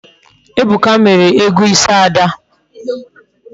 Ebuka mere ego isi Ada